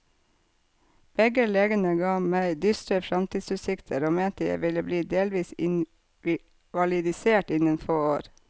Begge legene gav meg dystre framtidsutsikter og mente jeg ville bli delvis invalidisert innen få år.